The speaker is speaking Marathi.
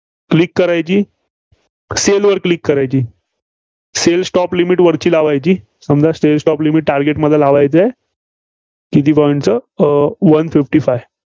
Click करायची. Sale वर Click करायची. Sale stop limit वरची लावायची. समजा Sale stop target मला लावायचे आहे, किती point चं? Um one fifty five